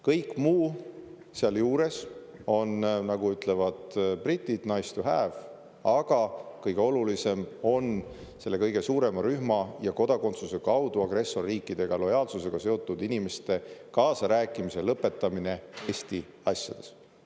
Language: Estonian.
Kõik muu seal juures on, nagu ütlevad britid, nice to have, aga kõige olulisem on selle kõige suurema rühma ja kodakondsuse kaudu agressorriikidele lojaalsusete inimeste kaasarääkimise lõpetamine Eesti asjades.